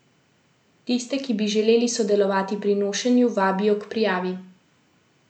Tiste, ki bi želeli sodelovati pri nošenju, vabijo k prijavi.